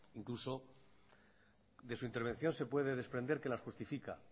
incluso de su intervención se puede desprender que las justifica